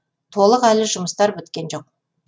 толық әлі жұмыстар біткен жоқ